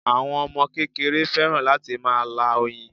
Àwọn Ọmọ kékeré fẹ́ràn láti máa lá oyin